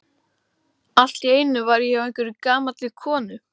Allt í einu var ég hjá einhverri gamalli konu.